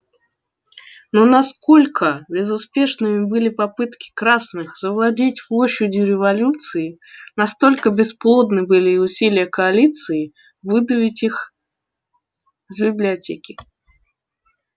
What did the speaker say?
но насколько безуспешными были попытки красных завладеть площадью революции настолько бесплодны были и усилия коалиции выдавить их з библиотеки